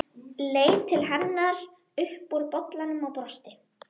Leit til hennar upp úr bollanum og brosti.